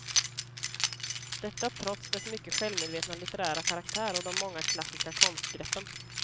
Detta trots dess mycket självmedvetna litterära karaktär och de många klassiska konstgreppen.